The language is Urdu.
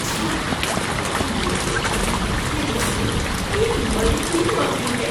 چھی! میرے انناس کے رس میں ایک مری ہوئی مکڑی ہے۔